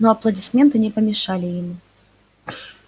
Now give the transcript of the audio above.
но аплодисменты не помешали ему